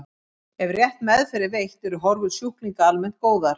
Ef rétt meðferð er veitt eru horfur sjúklinga almennt góðar.